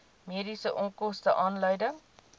mediese onkoste aanleiding